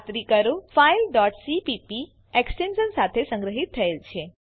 ખાતરી કરો કે ફાઈલ cpp એક્સ્ટેંશન સાથે સંગ્રહીત થયેલ છે